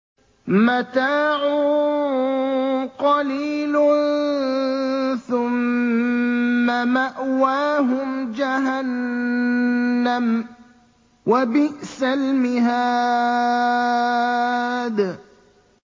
مَتَاعٌ قَلِيلٌ ثُمَّ مَأْوَاهُمْ جَهَنَّمُ ۚ وَبِئْسَ الْمِهَادُ